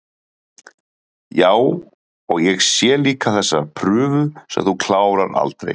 Já, og ég sé líka þessa prufu sem þú klárar aldrei